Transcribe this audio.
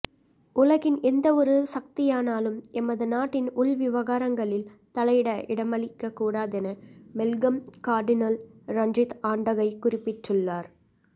உலகின் எந்தவொரு சக்தியானாலும் எமது நாட்டின் உள்விவகாரங்களில் தலையிட இடமளிக்கக் கூடாதென மெல்கம் கார்டினல் ரஞ்சித் ஆண்டகை குறிப்பிட்டுள்ளார்